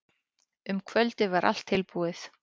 Um kvöldið var allt tilbúið.